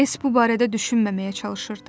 S. bu barədə düşünməməyə çalışırdı.